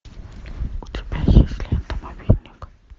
у тебя есть лента мобильник